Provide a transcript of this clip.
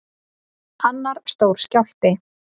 Annar stór skjálfti